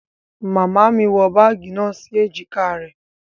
Màmá mí wọ bagi náà si ejika rẹ